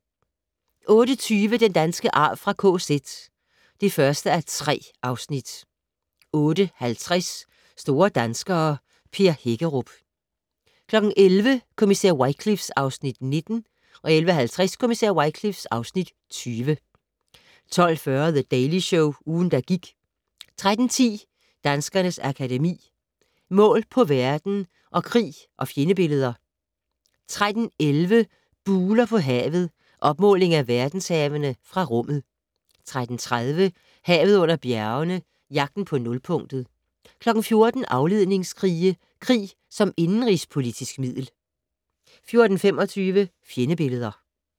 08:20: Den danske arv fra KZ (1:3) 08:50: Store danskere - Per Hækkerup 11:00: Kommissær Wycliffe (Afs. 19) 11:50: Kommissær Wycliffe (Afs. 20) 12:40: The Daily Show - ugen, der gik 13:10: Danskernes Akademi: Mål på verden & Krig og fjendebilleder 13:11: Buler på havet - opmåling af verdenshavene fra rummet 13:30: Havet under bjergene - Jagten på nulpunktet 14:00: Afledningskrige - krig som indenrigspolitisk middel 14:25: Fjendebilleder